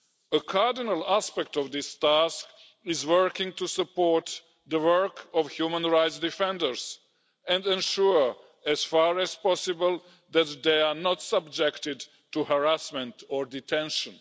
A cardinal aspect of this task is working to support the work of human rights defenders and ensure, as far as possible, that they are not subjected to harassment or detention.